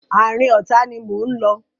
Àárín ọ̀tá ni mò ń lọ.